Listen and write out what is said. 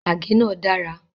Àgé náà dára